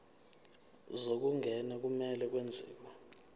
zokungena kumele kwenziwe